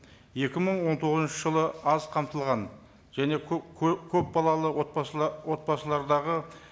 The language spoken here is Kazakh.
екі мың он тоғызыншы жылы аз қамтылған және көп көпбалалы отбасылардағы